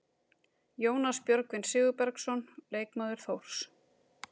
Jónas Björgvin Sigurbergsson, leikmaður Þórs.